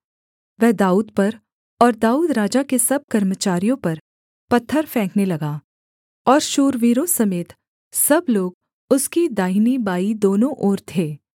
वह दाऊद पर और दाऊद राजा के सब कर्मचारियों पर पत्थर फेंकने लगा और शूरवीरों समेत सब लोग उसकी दाहिनी बाईं दोनों ओर थे